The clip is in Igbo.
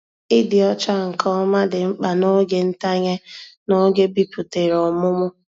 Ịdị ọcha nke ọma dị mkpa n'oge ntanye na-oge biputere ọmụmụ.